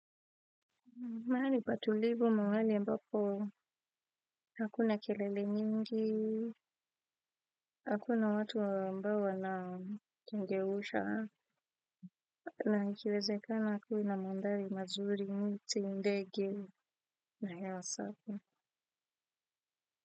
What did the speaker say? Mahali patulivu mahali ambapo hakuna kelele nyingi, hakuna watu ambao wana kengeusha, na ikiwezekana kuwe na mandhari mazuri miti ndege na hewa safi.